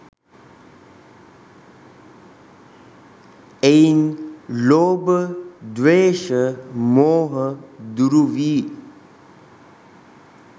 එයින් ලෝභ, ද්වේෂ, මෝහ දුරු වී